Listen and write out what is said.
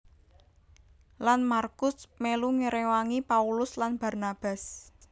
Lan MarkuS melu ngrewangi Paulus lan Barnabas